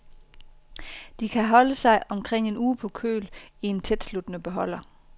De kan holde sig omkring en uge på køl i tætsluttende beholder.